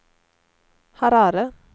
Harare